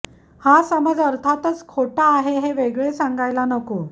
हा समज अर्थातच खोटा आहे हे वेगळे सांगायला नको